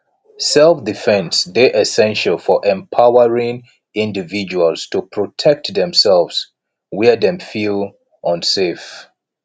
selfdefense dey essential for empowering individuals to protect themself where dem feel unsafe